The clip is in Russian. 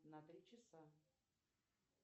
на три часа